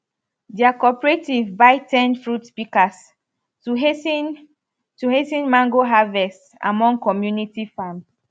dia cooperative buy ten fruit pikas to has ten to has ten mango harvest among community farms